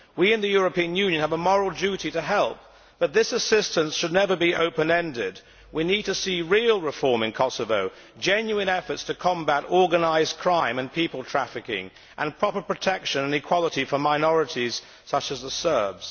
We in the European Union have a moral duty to help, but this assistance should never be open ended. We need to see real reform in Kosovo, genuine efforts to combat organised crime and people trafficking, and proper protection and equality for minorities, such as the Serbs.